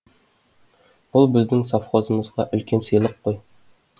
бұл біздің совхозымызға үлкен сыйлық қой